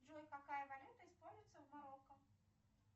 джой какая валюта используется в марокко